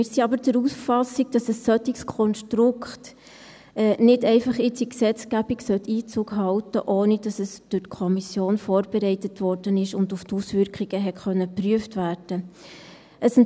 Wir sind aber der Auffassung, dass ein solches Konstrukt jetzt nicht einfach in die Gesetzgebung Einzug halten sollte, ohne dass es durch die Kommission vorbereitet wurde und auf die Auswirkungen hin geprüft werden konnte.